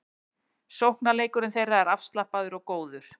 Sóknarleikur þeirra er afslappaður og góður